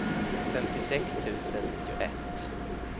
femtiosex tusen nittioett